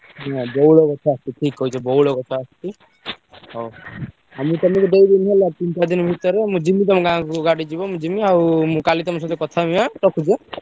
ହଁ ବଉଳ ଗଛ ଠିକ୍ କହିଛ ବଉଳ ଗଛ ଆସଚି। ହଉ ଆଉ ମୁଁ ତମୁକୁ ଦେଇଦେବି ହେଲା ତିନି ଚାରି ଦିନି ଭିତରେ ମୁଁ ଯିବି ତମ ଗାଁକୁ ଗାଡି ଯିବ ମୁଁ ଯିମି ଆଉ ମୁଁ କାଲି ତମ ସହିତ କଥା ହେବି ଏଁ ରଖୁଛି ଏଁ?